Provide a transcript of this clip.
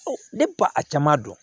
Ne ba a caman dɔn